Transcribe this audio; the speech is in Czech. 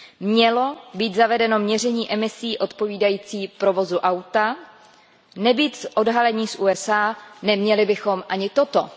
Mělo být zavedeno měření emisí odpovídající provozu auta a nebýt odhalení z USA, neměli bychom ani toto.